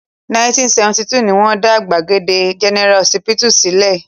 1972 ni wọ́n dá Gbagada General Họsípítù sílẹ̀.